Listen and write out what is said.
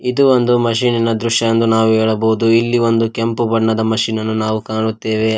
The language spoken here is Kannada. ಇದು ಒಂದು ಮಷೀನಿನ ದೃಶ್ಯ ಎಂದು ನಾವು ಹೇಳಬಹುದು ಇಲ್ಲಿ ಒಂದು ಕೆಂಪು ಬಣ್ಣದ ಮಷೀನನ್ನು ನಾವು ಕಾಣುತ್ತೇವೆ--